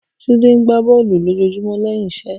Tunde n ṣe bọọlu lojoojumọ lẹhin iṣẹ